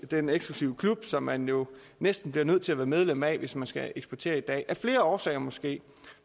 den eksklusive klub som man jo næsten bliver nødt til at være medlem af hvis man skal eksportere i dag af flere årsager måske